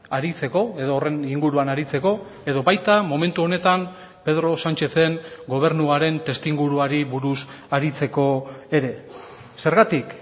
aritzeko edo horren inguruan aritzeko edo baita momentu honetan pedro sánchezen gobernuaren testuinguruari buruz aritzeko ere zergatik